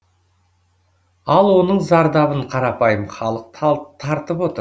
ал оның зардабын қарапайым халық тартып отыр